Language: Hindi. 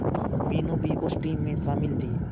मीनू भी उस टीम में शामिल थी